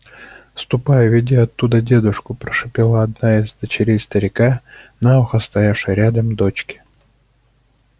ступай уведи оттуда дедушку прошипела одна из дочерей старика на ухо стоявшей рядом дочке